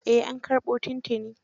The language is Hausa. Eh an karbo tun tuni.